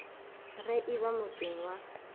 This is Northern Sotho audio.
ge e ba motseng wa